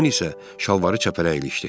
Tomun isə şalvarı çəpərə ilişdi.